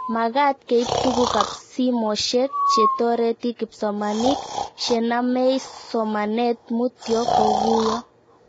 Magat keip tuguk ab simoshek che toreti kipsomanik she namei somanet mutyo ko kuyo